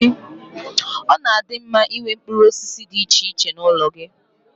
Ọ na-adi mma Ị nwee mkpụrụ osisi dị iche iche n'ụlọ gị.